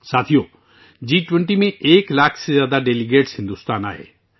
دوستو جی 20 میں ایک لاکھ سے زیادہ مندوبین بھارت آئے تھے